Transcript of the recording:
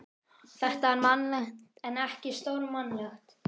Þetta er mannlegt en ekki stórmannlegt.